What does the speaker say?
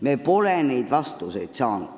Me pole neid vastuseid saanud.